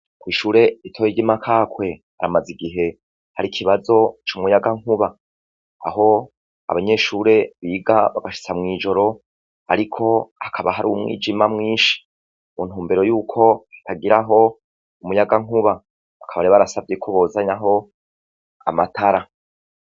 Ku ishure ritoye ryi Makakwe haramaze igihe hari ikibazo c'umuyagankuba aho abanyeshure biga bagashitsa mw'joro ariko hakaba hari umwijima mwishi mu ntumbero yuko batagiraho umuyagankuba baka rero barasavye ko bozanaho amatara.